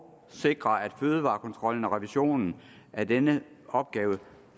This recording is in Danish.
sikre at fødevarekontrollen og revisionen af denne opgave